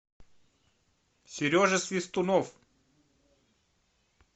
сережа свистунов